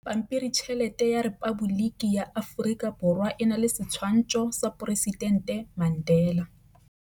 Pampiritšheletê ya Repaboliki ya Aforika Borwa e na le setshwantshô sa poresitentê Mandela.